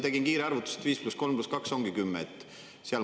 Tegin kiire arvutuse: 5 + 3 + 2 ongi 10.